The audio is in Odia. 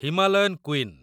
Himalayan queen